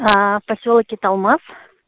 посёлок италмас